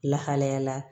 Lahalayala